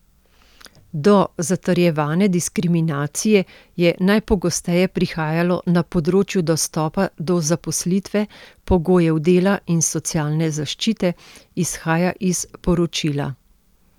Do zatrjevane diskriminacije je najpogosteje prihajalo na področju dostopa do zaposlitve, pogojev dela in socialne zaščite, izhaja iz poročila.